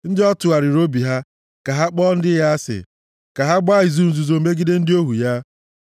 ndị ọ tụgharịrị obi ha ka ha kpọọ ndị ya asị, ka ha gbaa izu nzuzo megide ndị ohu ya.